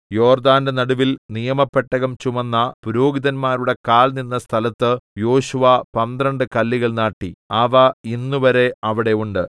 യോർദ്ദാന്റെ നടുവിൽ നിയമപെട്ടകം ചുമന്ന പുരോഹിതന്മാരുടെ കാൽ നിന്ന സ്ഥലത്ത് യോശുവ പന്ത്രണ്ട് കല്ലുകൾ നാട്ടി അവ ഇന്നുവരെ അവിടെ ഉണ്ട്